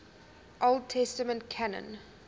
old testament canon